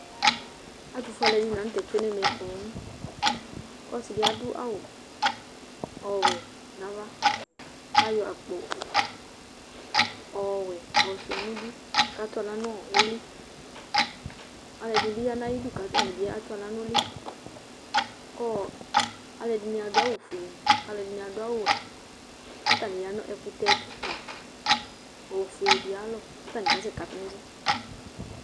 Atʋfue alʋɛdɩnɩ la nʋ tɛ tsue nʋ ɛmɛ poo kʋ ɔsɩ dɩ adʋ awʋ ɔwɛ nʋ ava kʋ ayɔ akpo ɔwɛ yɔsʋɩa nʋ idu kʋ atʋ aɣla nʋ ʋlɩ Alʋɛdɩnɩ bɩ ya nʋ ayidu kʋ atanɩ bɩ atʋ aɣla nʋ ʋlɩ kʋ ɔ alʋɛdɩnɩ adʋ awʋfuele kʋ alʋɛdɩnɩ adʋ awʋwɛ kʋ atanɩ ya nʋ ɛkʋtɛ kɩka ofuele dɩ ayalɔ kʋ atanɩ kasɛkatʋ nʋ ɛsɛ